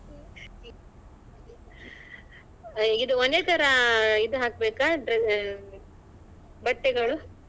ಇದು ಒಂದೇತರ ಇದು ಹಾಕ್ಬೇಕಾ ಬಟ್ಟೆಗಳು